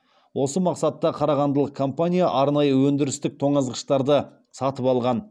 осы мақсатта қарағандылық компания арнайы өндірістік тоңазытқыштарды сатып алған